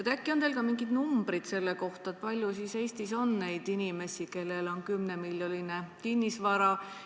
Äkki on teil ka mingid numbrid selle kohta, kui palju Eestis on inimesi, kellel on 10-miljoniline kinnisvara?